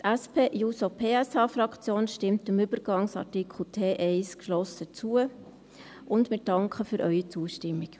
Die SP-JUSO-PSA-Fraktion stimmt dem Übergangsartikel T1-1 geschlossen zu, und wir danken für Ihre Zustimmung.